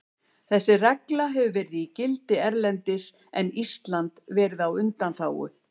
Þessi regla hefur verið í gildi erlendis en Ísland verið á undanþágu.